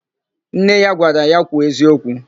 Nne ya gwara ya, "kwuo eziokwu"!